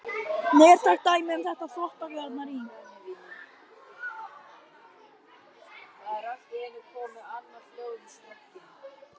Nærtækt dæmi um þetta eru Þvottalaugarnar í